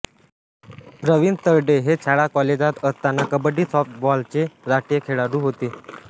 प्रवीण तरडे ते शाळाकॉलेजात असताना कबड्डी सॉफ्टबॉलचे राष्ट्रीय खेळाडू होते